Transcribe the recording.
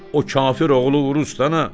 O kafir oğlu urus da ha?